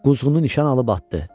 Quzğunu nişan alıb atdı.